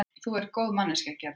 Þú ert góð manneskja, Gerður.